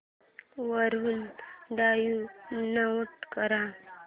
वरून डाऊनलोड कर